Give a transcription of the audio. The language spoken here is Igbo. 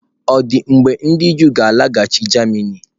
Ọ̀ dị mgbe ndị Juu ga-alaghachi Germany?